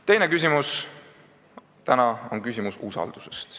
Teiseks tahan täna rääkida usalduse küsimusest.